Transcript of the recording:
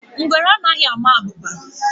Ngwere anaghị ama abụba